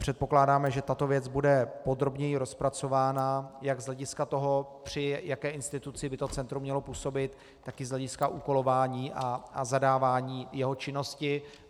Předpokládáme, že tato věc bude podrobněji rozpracována jak z hlediska toho, při jaké instituci by to centrum mělo působit, tak i z hlediska úkolování a zadávání jeho činnosti.